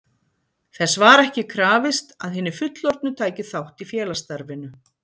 Þess var ekki aðeins krafist, að hinir fullorðnu tækju þátt í félagsstarfinu.